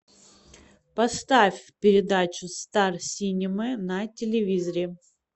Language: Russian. поставь передачу стар синема на телевизоре